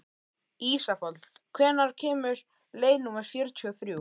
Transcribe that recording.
Ísafold, hvenær kemur leið númer fjörutíu og þrjú?